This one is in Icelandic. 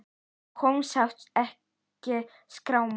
Á honum sást ekki skráma.